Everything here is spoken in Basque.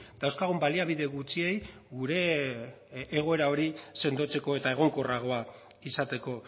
dauzkagun baliabide gutxiei gure egoera hori sendotzeko eta egonkorragoa izateko